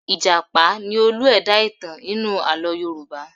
Ì̀jàpá ni olú-ẹ̀dá ìtàn nínú àlọ́ Yorùbá.